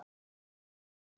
Írena, hvernig er dagskráin?